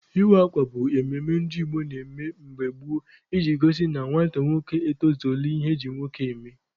Ịwa akwa bụ emume ndị Igbo na-eme mgbe gboo iji gosi na nwata nwoke etozuola ihe eji nwoke eme.